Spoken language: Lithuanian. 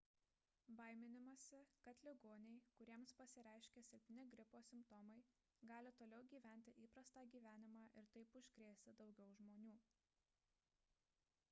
baiminamasi kad ligoniai kuriems pasireiškia silpni gripo simptomai gali toliau gyventi įprastą gyvenimą ir taip užkrėsti daugiau žmonių